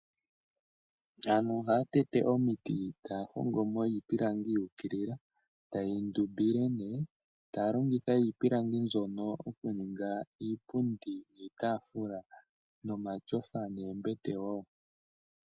Aantu ohaya tete omiti taya hongo mo iipilangi yu ukilila ta yeyi ndumbile nee, taya longitha iipilangi mbyono oku ninga iipundi niitaafula nomashofa neembete woo.